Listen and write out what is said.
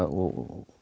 og